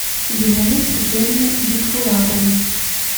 елены сергеевны бикбулатовой